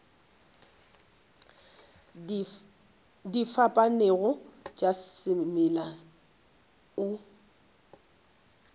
di fapanego tša semela o